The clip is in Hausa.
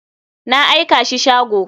Na aikashi shago.